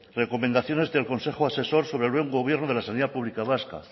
recomendaciones del consejo asesor sobre el buen gobierno de la sanidad pública vasca